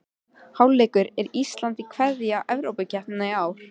Hálfleikur: Er Ísland að kveðja Evrópukeppnina í ár?